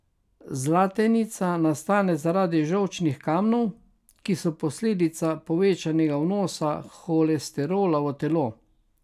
Zlatenica nastane zaradi žolčnih kamnov, ki so posledica povečanega vnosa holesterola v telo.